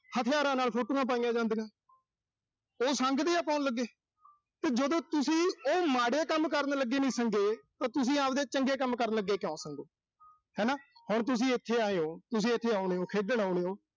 ਹਥਿਆਰਾਂ ਨਾਲ photos ਪਾਉਂਦੇ ਜਾਂਦੇ ਨੇ। ਇਹ ਸੰਗਦੇ ਆ ਕਰਨ ਲੱਗੇ। ਤੇ ਜਿਹੜੇ ਤੁਸੀਂ ਇਹ ਮਾੜੇ ਕੰਮ ਕਰਨ ਲੱਗੇ ਨੀਂ ਸੰਗੇ ਤਾਂ ਤੁਸੀਂ ਆਬਦੇ ਚੰਗੇ ਕੰਮ ਕਰਨ ਲੱਗੇ ਕਿਉਂ ਸੰਗੋਂ? ਹਨਾ ਹੁਣ ਤੁਸੀਂ ਇਥੇ ਆਏ ਓਂ, ਤੁਸੀਂ ਇਥੇ ਆਉਣੇ ਓਂ, ਖੇਡਣ ਆਉਣੇ ਓਂ।